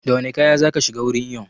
Da wane kaya zaka shiga wurin iyon?